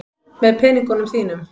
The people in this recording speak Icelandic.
Með peningunum þínum.